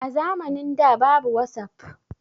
A zamanin da babu wasap